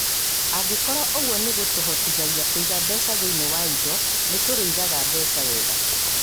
Angĩkorũo ũguo nĩ kũhotithagia kwĩiga mbeca thĩinĩ wa indo, nĩ tũrĩigaga mbeca wega.